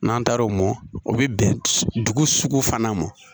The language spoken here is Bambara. N'an taara o mɔ o bɛ bɛn dugu sugu fana ma